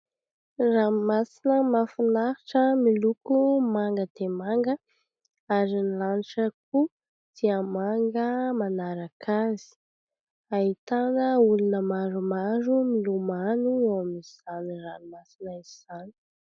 Ranomasina mahafinaritra miloko manga dia manga ary ny lanitra koa dia manga manaraka azy. Ahitana olona maromaro milomano eo amin'izany ranomasina izany.